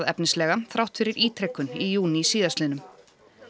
efnislega þrátt fyrir ítrekun í júní síðastliðnum